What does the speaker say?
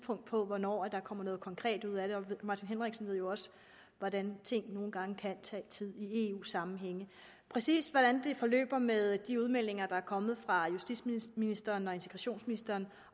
på for hvornår der kommer noget konkret ud af det og herre martin henriksen ved jo også hvordan ting nogle gange kan tage tid i eu sammenhænge præcis hvordan det forløber med de udmeldinger der er kommet fra justitsministeren og integrationsministeren